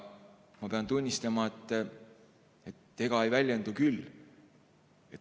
Ma pean tunnistama, et ega ei väljendu küll.